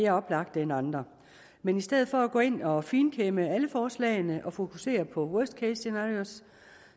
mere oplagte end andre men i stedet for at gå ind og finkæmme alle forslagene og fokusere på worst case scenarios